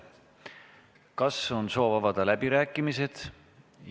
Kas on soov avada läbirääkimised?